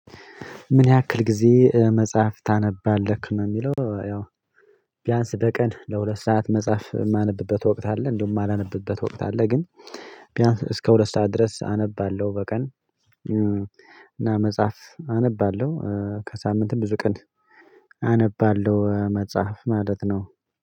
ምን ያክል ጊዜ መጽሐፍ ታነባለህ? ነው የሚለው ያው ቢያንስ በቀን ለሁለት ሰዓት መጽሐፍ የማነብበት ወቅት አለ እንዲሁም የማላነብበት ወቅት አለ ግን ቢያንስ እስከ ሁለት ሰዓት ድረስ አነባለሁ በቀን እና መጽሐፍ አነባለሁ ከሳምንትም ብዙ ቀን አነባለሁ መጽሐፍ ማለት ነው